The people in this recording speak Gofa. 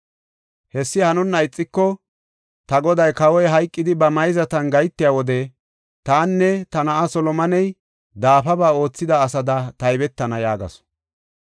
Hessi hanonna ixiko ta goday kawoy hayqidi ba mayzatan gahetiya wode tanne ta na7ay Solomoney daafaba oothida asada taybetana” yaagasu.